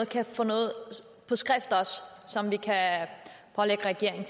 kan få noget på skrift som vi kan pålægge regeringen